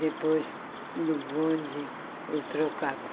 Depois, no bonde, eu trocava.